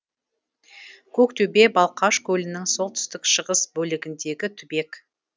көктөбе балқаш көлінің солтүстік шығыс бөлігіндегі түбек